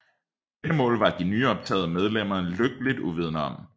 Dette mål var de nyoptagede medlemmer lykkeligt uvidende om